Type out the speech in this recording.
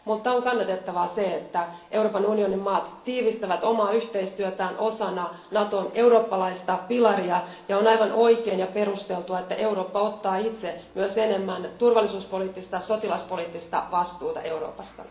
Mutta on kannatettavaa, että Euroopan unionin maat tiivistävät omaa yhteistyötään osana Naton eurooppalaista pilaria, ja on aivan oikein ja perusteltua, että Eurooppa ottaa itse myös enemmän turvallisuuspoliittista ja sotilaspoliittista vastuuta Euroopasta.